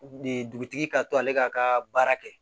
Dugutigi ka to ale ka ka baara kɛ